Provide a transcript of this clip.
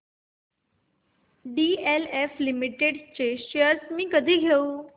DLF limited shares मी कधी घेऊ